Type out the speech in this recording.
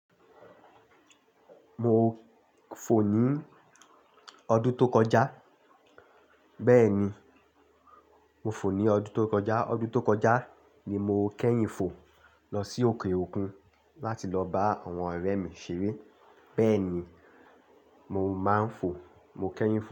Mo fò ní ọdún tó kọjá. Bẹ́ẹ̀ni, mo fò ní ọdún tó kọjá. Ọdún tó kọjá ni mo kẹ́yìn fò lọ sí òkè òkun láti lọ bá àwọn ọ̀rẹ́ mi ṣeré. Bẹ́ẹ̀ni, mo máa ń fò. Mo kẹ́yìn fò.